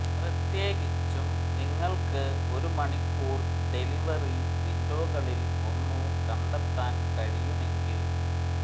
പ്രത്യേകിച്ചും നിങ്ങൾക്ക് ഒരു മണിക്കൂർ ഡെലിവറി വിൻഡോകളിൽ ഒന്ന് കണ്ടെത്താൻ കഴിയുമെങ്കിൽ